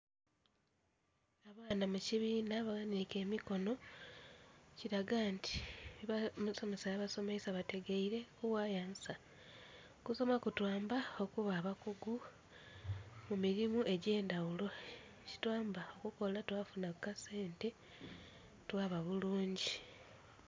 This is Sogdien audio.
Eno mukibinha baghanike emikono kiraga nti oba omusomesa byabasomeisa bategaire kughayo ansa. Okusoma kutwamba okuba abakugu kumirimo egyendhaghulo ekitwamba okukola twafunha kukasente twaba bulungi.